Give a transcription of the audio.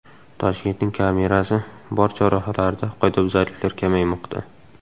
Toshkentning kamerasi bor chorrahalarida qoidabuzarliklar kamaymoqda.